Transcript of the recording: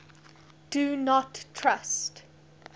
do not trust